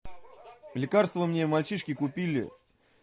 лекарство мне мальчишке купили